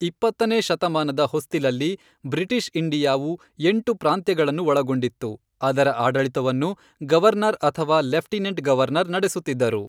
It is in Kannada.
ಇಪ್ಪತ್ತನೇ ಶತಮಾನದ ಹೊಸ್ತಿಲಲ್ಲಿ, ಬ್ರಿಟಿಷ್ ಇಂಡಿಯಾವು ಎಂಟು ಪ್ರಾಂತ್ಯಗಳನ್ನು ಒಳಗೊಂಡಿತ್ತು, ಅದರ ಆಡಳಿತವನ್ನು ಗವರ್ನರ್ ಅಥವಾ ಲೆಫ್ಟಿನೆಂಟ್ ಗವರ್ನರ್ ನಡೆಸುತ್ತಿದ್ದರು.